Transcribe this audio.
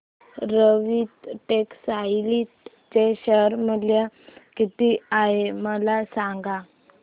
Arvind textile चे share मूल्य किती आहे मला सांगा